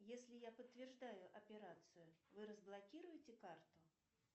если я подтверждаю операцию вы разблокируете карту